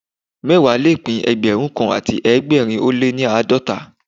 Mẹ́wàá le pín Ẹgbẹ̀rún kan àti ẹgbẹ̀rin ó lé ní àádọ́ta